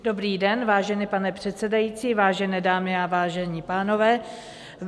Dobrý den, vážený pane předsedající, vážené dámy a vážení pánové.